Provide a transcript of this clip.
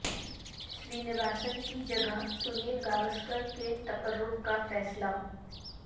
سرینواسن کی جگہ سنیل گواسکر کے تقرر کا فیصلہ